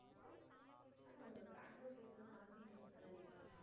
ஆனா, பெங்களூர் side ல எல்லாம் north இந்தியன்ஸ் தானே அதிகமா இருப்பாங்க?